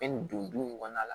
nin don in kɔnɔna la